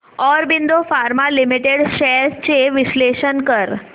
Aurobindo pharma limited shares चे विश्लेषण कर